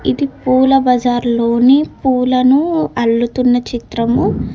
ఇది పూల బజార్ లోని పూలను అల్లుతున్న చిత్రము.